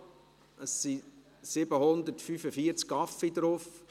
Selecta, es sind 745 Kaffees darauf.